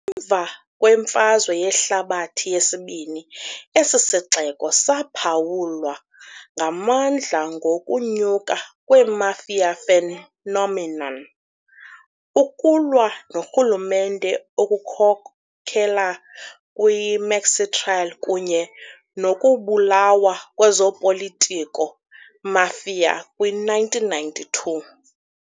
Emva kweMfazwe Yehlabathi yesiBini esi sixeko saphawulwa ngamandla ngokunyuka kwe- mafia phenomenon, ukulwa noRhulumente okukhokelela kwi- Maxi Trial kunye nokubulawa kwezopolitiko-mafia kwi-1992.